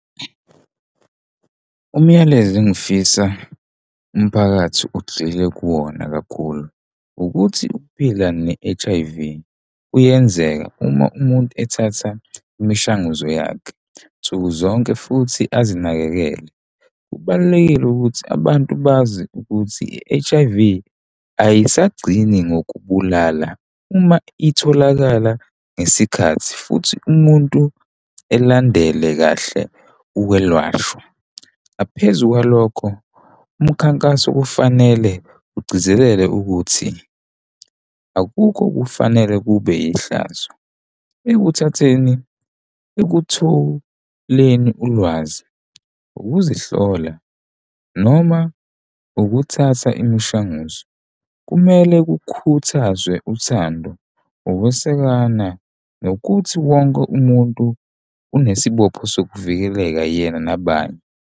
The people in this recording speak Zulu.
Umyalezo engifisa umphakathi ugxile kuwona kakhulu ukuthi ukuphila ne-H_I_V kuyenzeka uma umuntu ethatha imishanguzo yakhe nsuku zonke futhi azinakekele. Kubalulekile ukuthi abantu bazi ukuthi i-H_I_V ayisagcini ngokubulala uma itholakala ngesikhathi futhi umuntu elandele kahle ukwelashwa. Ngaphezu kwalokho umkhankaso kufanele ugcizelele ukuthi akukho okufanele kube yihlazo ekuthatheni ekuthuleni ulwazi ukuzihlola noma ukuthatha imishanguzo, kumele kukhuthazwe uthando ukwesekana nokuthi wonke umuntu unesibopho sokuvikeleka yena nabanye.